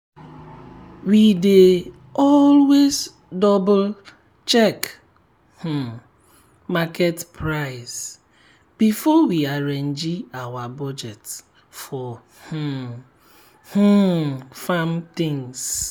we dey always double-check um market price before we arrange our budget for um um farm things.